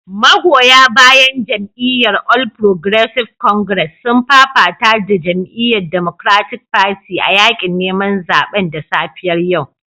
Magoya bayan jam'iyyar All Progressive Congress sun fafata da jama'iyyar Democratic Party a yakin neman zaben da safiyar yau